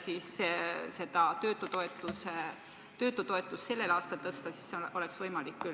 siis oleks töötutoetust sellel aastal tõsta võimalik küll.